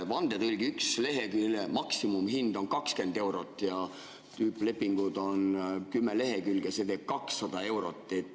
Vandetõlgi ühe lehekülje maksimumhind on 20 eurot ja tüüplepingud on 10 lehekülge, see teeb 200 eurot.